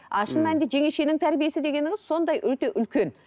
а шын мәнінде жеңешенің тәрбиесі дегеніңіз сондай өте үлкен